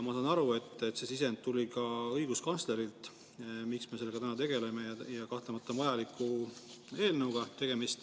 Ma saan aru, et see sisend, miks me sellega täna tegeleme, tuli ka õiguskantslerilt ja kahtlemata on tegemist vajaliku eelnõuga.